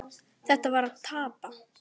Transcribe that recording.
Það var að tapa.